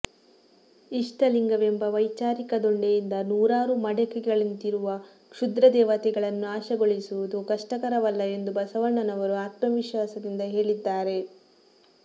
ಇಷ್ಟಲಿಂಗವೆಂಬ ವೈಚಾರಿಕ ದೊಣ್ಣೆಯಿಂದ ನೂರಾರು ಮಡಕೆಗಳಂತಿರುವ ಕ್ಷುದ್ರದೇವತೆಗಳನ್ನು ನಾಶಗೊಳಿಸುವುದು ಕಷ್ಟಕರವಲ್ಲ ಎಂದು ಬಸವಣ್ಣನವರು ಆತ್ಮವಿಶ್ವಾಸದಿಂದ ಹೇಳಿದ್ದಾರೆ